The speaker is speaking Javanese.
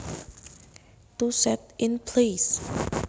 To set in place